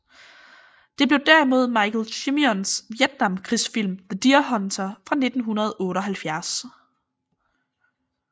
Det blev derimod Michael Ciminos Vietnam krigsfilm The Deer Hunter fra 1978